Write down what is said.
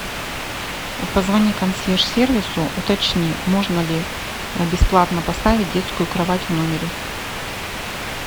позвони консьерж сервису уточни можно ли бесплатно поставить детскую кровать в номере